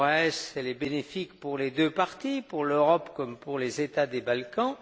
Moraes, elle est bénéfique pour les deux parties, pour l'Europe comme pour les États des Balkans.